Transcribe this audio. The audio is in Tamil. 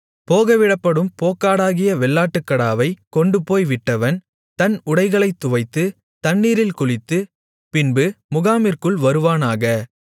போகவிடப்படும் போக்காடாகிய வெள்ளாட்டுக்கடாவைக் கொண்டுபோய் விட்டவன் தன் உடைகளைத் துவைத்து தண்ணீரில் குளித்து பின்பு முகாமிற்குள் வருவானாக